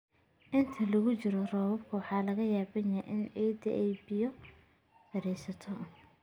Inta lagu jiro roobabka, waxaa laga yaabaa in ciidda ay biyo fariisato.